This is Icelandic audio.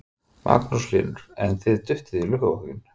Magnús Hlynur: En þið duttuð í lukkupottinn?